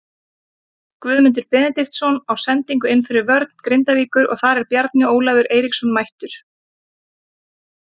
Guðmundur Benediktsson á sendingu inn fyrir vörn Grindavíkur og þar er Bjarni Ólafur Eiríksson mættur.